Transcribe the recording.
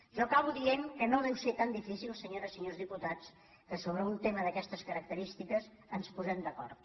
jo acabo dient que no deu ser tan difícil senyores i senyors diputats que sobre un tema d’aquestes carac·terístiques ens posem d’acord